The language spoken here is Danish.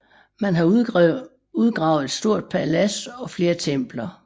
Man har udgravet et stort palads og flere templer